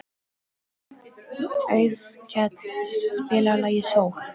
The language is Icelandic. Auðkell, spilaðu lagið „Sól“.